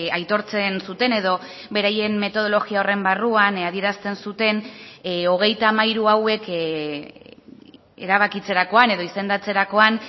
aitortzen zuten edo beraien metodologia horren barruan adierazten zuten hogeita hamairu hauek erabakitzerakoan edo izendatzerakoan